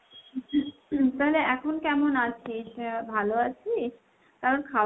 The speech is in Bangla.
তাহলে এখন কেমন আছিস ? আহ ভালো আছিস ? কারণ